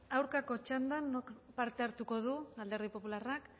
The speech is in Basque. aurkako txandan nork parte hartuko du alderdi popularrak